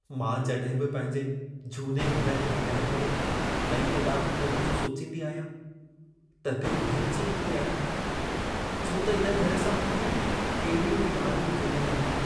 मां जॾहिं बि पंहिंजे झूने घर खे भञाए करे, नईं अॾावत करण जो सोचींदी आहियां, त दिल भरिजी ईंदी आहे। छो त हिन घर सां मुंहिंजूं केॾियूं यादूं जुड़ियल आहिनि।